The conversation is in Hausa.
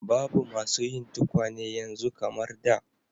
Babu masu yin tukwane yanzu kamar da.